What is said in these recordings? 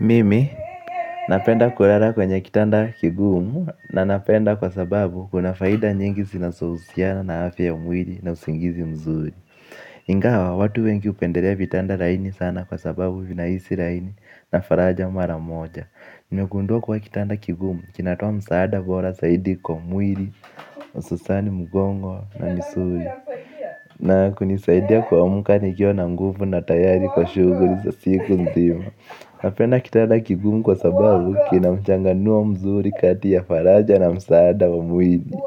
Mimi, napenda kulala kwenye kitanda kigumu na napenda kwa sababu kuna faida nyingi sinaso husiana na hafi ya mwili na usingizi mzuri. Ingawa, watu wengi hupendelea vitanda laini sana kwa sababu vinahisi laini na faraja mara moja. Nime gundua kuwa kitanda kigumu, kinatoa msaada bora saidi kwa mwili, hususani, mgongo na misuli. Na kunisaidia kuamka nikiwa na nguvu na tayari kwa shuguli za siku nzima. Napenda kitanda kigumu kwa sababu kina mchanganua mzuri kati ya faraja na msaada wa mwili.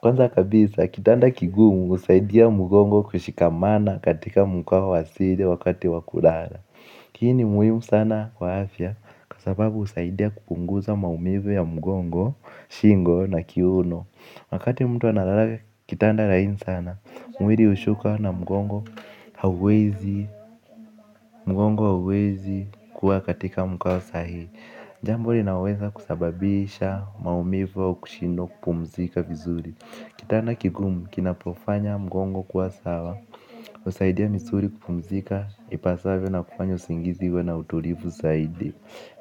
Kwanza kabisa kitanda kigumu husaidia mugongo kushikamana katika mkwa wasile wakati wa kulala. Hii ni muhimu sana kwa afya kwa sababu husaidia kupunguza maumivu ya mgongo, shingo na kiuno. Wakati mtu analala kitanda laini sana, mwiri hushuka na mgongo hauwezi, mgongo hauwezi kuwa katika mkao sahihi. Jambo linaweza kusababisha maumivu au kushindwa kupumzika vizuri. Kitanda kigumu kinapofanya mgongo kuwa sawa, husaidia misuli kupumzika ipasavyo na kufanya usingizi uwe na utulifu saidi.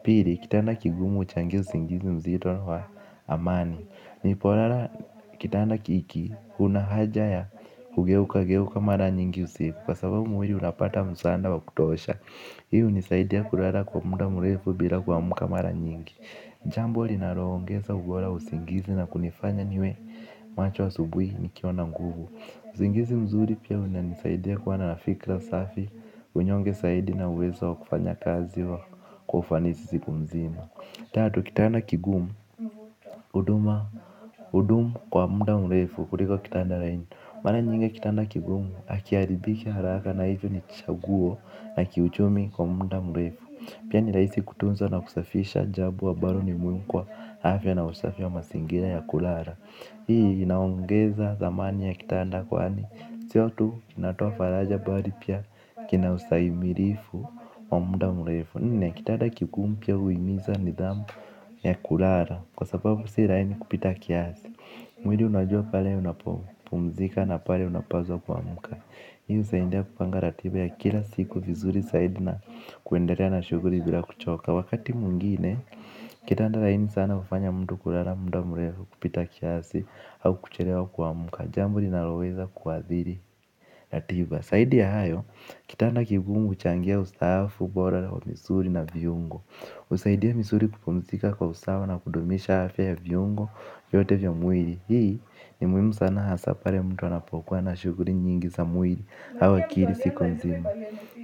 Pili, kitanda kigumu huchangia usingizi mzito wa amani. Ni polala kitanda kiki kunahaja ya kugeukageuka mara nyingi usiku. Kwa sababu mwiri unapata msaanda wa kutosha. Hii hunisaidia kulala kwa muda mrefu bila kuamka mara nyingi. Jambo linaloongeza ubora wa usingizi na kunifanya niwe macho asubuhi nikiwa na nguvu. Usingizi mzuri pia unanisaidia kuwana na fikra safi. Unyonge saidi na uwezo wa kufanya kazi wa kwa ufanisi siku nzima. Tatu, kitanda kigumu, huduma, hudumu kwa muda mrefu, kuriko kitanda laini. Mara nyingi kitanda kigumu, hakiharibiki haraka na hivyo ni chaguo la kiuchumi kwa muda mrefu. Pia ni rahisi kutunza na kusafisha jabo ambalo ni muhimu kwa afya na usafi wa masingira ya kulara. Hii, inaongeza thamani ya kitanda kwaani, sio tu, inatoa faraja bari pia kina usahimilifu wa munda mrefu nne, kitada kigumu pia huimiza ni dhamu ya kulara. Kwa sababu sii laini kupita kiasi. Mwili unajua pale unapo pumzika na pale unapazwa kuamka. Hii husaindia kupanga ratiba ya kila siku vizuri saidi na kuenderea na shuguli bila kuchoka. Wakati mwingine, kitada laini sana hufanya mtu kulara, mda murefu kupita kiasi au kuchelewa kuamka. Jambo lina loweza kuadhiri ratiba. Saidi ya hayo, kitanda kigumu huchangia ustaafu, bora wa misuli na viungo husaidia misuri kupumzika kwa usawa na kudumisha afya ya viungo vyote vya mwili. Hii ni muhimu sana hasa pale mtu anapokua na shuguli nyingi za mwili au akiri siko nzima.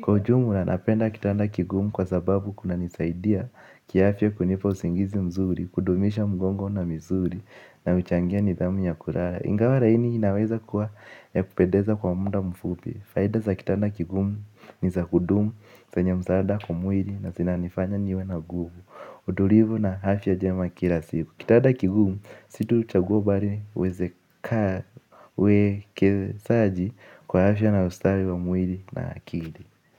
Kwa ujumla na napenda kitanda kigumu kwa sababu kuna nisaidia kiafya kunipa usingizi mzuri. Kudumisha mgongo na misuri na huchangia nidhamu ya kulala. Ingawa raini inaweza kuwa ya kupedeza kwa muda mfupi. Faida za kitanda kigumu ni za kudumu. Senye msaada kwa mwili na sinanifanya niwe na guvu. Utulivu na hafya jema kila siku. Kitada kigumu, situ chaguo bari niwezeka. Weke saji kwa afya na ustari wa mwili na akili.